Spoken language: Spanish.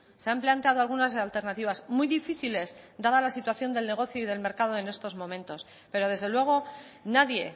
se han planteado algunas alternativas muy difíciles dada la situación del negocio y del mercado en estos momentos pero desde luego nadie